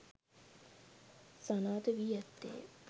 සනාථ වී ඇත්තේය.